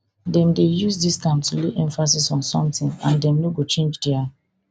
dem dey use dis term to lay emphasis on something and dem no go change dia